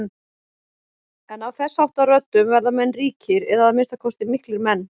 En af þessháttar röddum verða menn ríkir eða að minnsta kosti miklir menn.